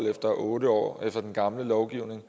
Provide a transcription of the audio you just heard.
efter otte år efter den gamle lovgivning